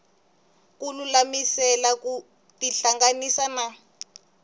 ku lulamisela ku tihlanganisa na